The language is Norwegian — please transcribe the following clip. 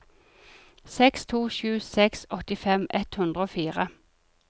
seks to sju seks åttifem ett hundre og fire